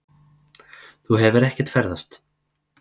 Þú hefur ekkert ferðast.